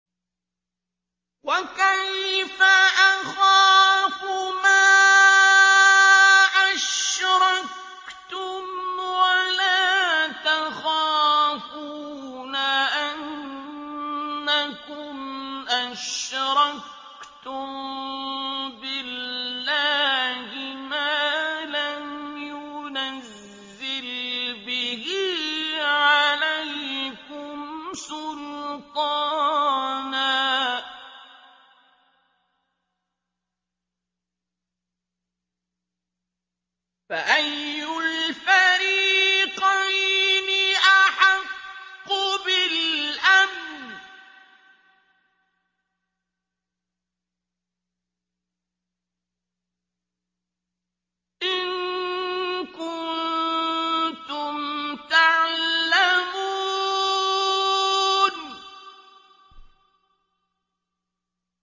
وَكَيْفَ أَخَافُ مَا أَشْرَكْتُمْ وَلَا تَخَافُونَ أَنَّكُمْ أَشْرَكْتُم بِاللَّهِ مَا لَمْ يُنَزِّلْ بِهِ عَلَيْكُمْ سُلْطَانًا ۚ فَأَيُّ الْفَرِيقَيْنِ أَحَقُّ بِالْأَمْنِ ۖ إِن كُنتُمْ تَعْلَمُونَ